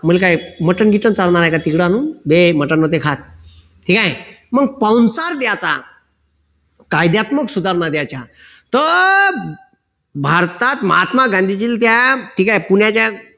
मग काय मटण बिटन चालणार आहे का तिकड आणून बे मटन नव्हते खात ठीक आहे मग पाहुणचार द्यायचा कायद्यात्मक सुधारणा द्यायच्या तर भारतात महात्मा गांधीजींना त्या ठीक आहे पुण्याच्या